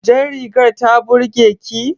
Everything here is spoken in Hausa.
Jar rigar ta burge ki?